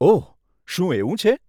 ઓહ, શું એવું છે?